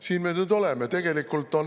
Siin me nüüd oleme!